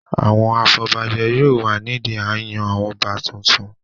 Àwọn afọbajẹ yóò wà nídi a n yan àwọn ọba tuntun